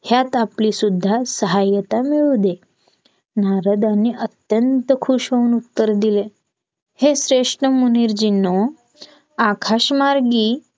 ह्यात आपली सुद्धा सहायता मिळू दे नारदांनी अत्यंत खुश होऊन उत्तर दिले हे श्रेष्ठ मुनिरजींनू आकाशमार्गी